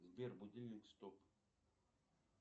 сбер будильник стоп